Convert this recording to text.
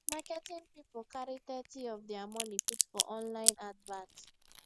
marketing people carry thirty of their money put for online advert